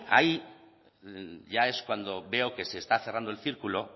ahí ya es cuando veo que se está cerrando el círculo